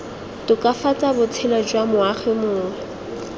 tokafatsa botshelo jwa moagi mongwe